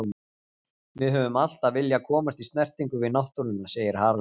Við höfum alltaf viljað komast í snertingu við náttúruna, segir Haraldur.